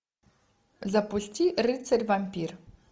запусти рыцарь вампир